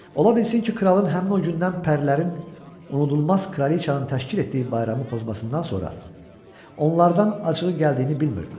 Ola bilsin ki, kralın həmin o gündən pərilərin unudulmaz kraliçanı təşkil etdiyi bayramı pozmasından sonra onlardan acığı gəldiyini bilmirdilər.